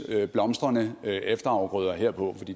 blomstrende efterafgrøder herpå